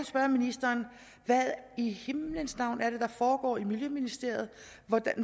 spørge ministeren hvad i himlens navn er det der foregår i miljøministeriet